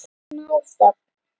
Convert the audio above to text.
Smá þögn.